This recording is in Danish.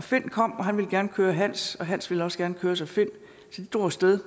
finn kom og han ville gerne køre hans og hans ville også gerne køres af finn så de drog af sted